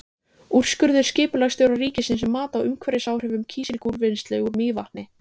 Úrskurður skipulagsstjóra ríkisins um mat á umhverfisáhrifum kísilgúrvinnslu úr Mývatni.